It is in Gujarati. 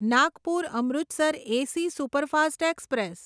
Nagpur Amritsar AC superfast express